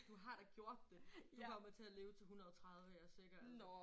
Du har da gjort det du kommer til at leve til 130 jeg er sikker altså